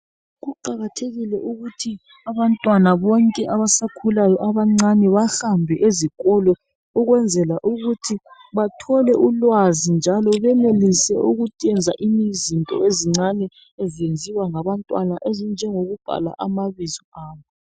Kuqakathekile ukuthi abantwana bonke abasakhulayo abancane bahambe izikolo ukwenzela ukuthi bathole ulwazi njalo benelise ukwenza izinto ezenziwa ngabantwana ezinjengokubhala amabizo abo.